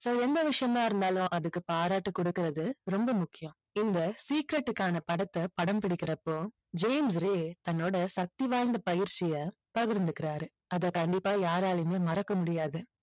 so எந்த விஷயமா இருந்தாலும் அதுக்கு பாராட்டு கொடுக்கிறது ரொம்ப முக்கியம். இந்த secret க்கான படத்தை படம் பிடிக்கிறப்போ ஜேம்ஸ் ரே தன்னோட சக்தி வாய்ந்த பயிற்சியை பகிர்ந்துக்கிறார். அதை கண்டிப்பா யாராலையும் மறக்க முடியாது.